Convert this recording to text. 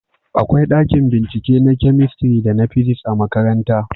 akwai ɗakin bincike na kamistiri da na fisiks a makaranta